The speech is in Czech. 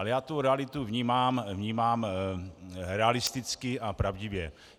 Ale já tu realitu vnímám realisticky a pravdivě.